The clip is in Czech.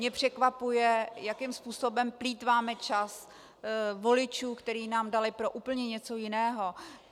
Mě překvapuje, jakým způsobem plýtváme čas voličů, který nám dali pro úplně něco jiného.